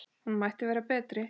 Hún mætti vera betri.